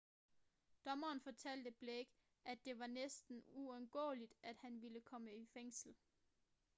dommeren fortalte blake at det var næsten uundgåeligt at han ville komme i fængsel